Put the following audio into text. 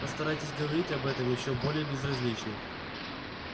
постарайтесь говорить об этом ещё более безразлично